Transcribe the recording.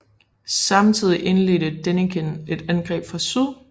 Samtidig indledte Denikin et angreb fra syd